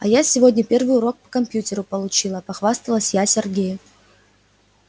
а я сегодня первый урок по компьютеру получила похвасталась я сергею